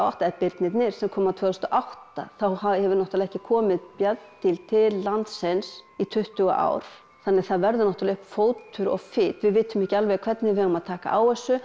eða birnirnir sem koma tvö þúsund og átta þá hefur náttúrulega ekki komið bjarndýr til til landsins í tuttugu ár þannig að það verður náttúrulega uppi fótur og fit við vitum ekki alveg hvernig við eigum að taka á þessu